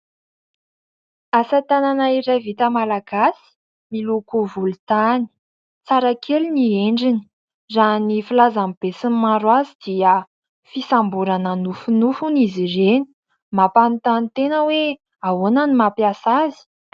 Asa tanana iray vita malagasy miloko volontany. Tsara kely ny endriny. Raha ny filazan'ny be sy ny maro azy dia fisamborana nofinofy hono izy ireny. Mampanontany tena hoe ahoana ny mampiasa azy ?